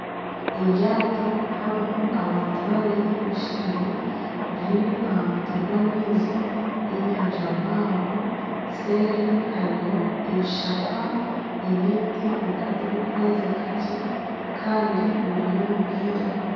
Eryaato harimu abantu babiri bashutami riri aha mutwe gw'amaizi y'enyanja mpango nseeri hariyo ebishaka nana emiti kwonka tibikuhwezeka gye Kandi buriyo nibwira